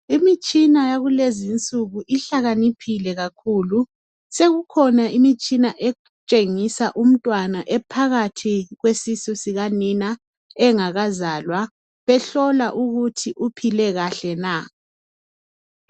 imitshina yakulezinsuku ihlakaniphile kakhulu sekukhona imitshina etshengisa umntwana ephakathi kwesisu sikanina engakazalwa behlola ukuthi uphile kahle na